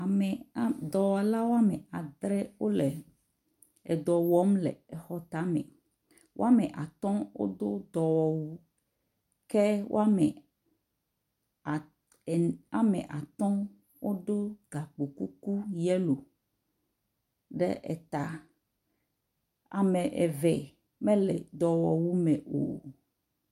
Ame ame…dɔwɔla woame adre wole edɔ wɔm le exɔ tame. Woame atɔ̃ wodo dɔwɔwu ke woame at…en..woame atɔ̃ wodo gakpo kuku yellow ɖe eta. Ame eve mele dɔwɔwu me o.